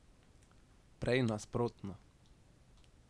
Prej nasprotno.